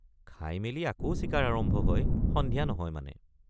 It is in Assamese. খাইমেলি আকৌ চিকাৰ আৰম্ভ হয় সন্ধিয়া নহয় মানে।